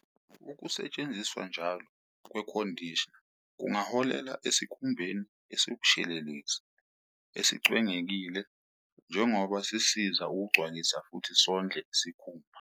Ukusetshenziswa njalo kwe-conditioner kungaholela esikhumbeni esikshelelezi esicwengekile njengoba sisiza ukugcwalisa futhi sondle isikhumba.